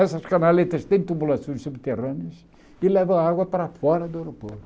Essas canaletas têm tubulações subterrâneas e levam a água para fora do aeroporto.